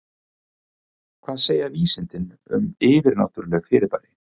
Hvað segja vísindin um yfirnáttúrleg fyrirbæri?